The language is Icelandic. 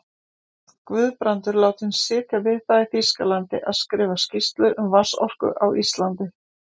Guðbrandur látinn sitja við það í Þýskalandi að skrifa skýrslu um vatnsorku á Íslandi.